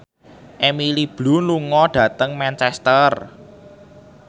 Emily Blunt lunga dhateng Manchester